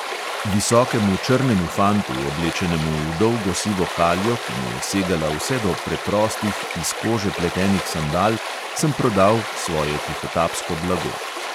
Visokemu črnemu fantu, oblečenemu v dolgo sivo haljo, ki mu je segala vse do preprostih iz kože pletenih sandal, sem prodal svoje tihotapsko blago.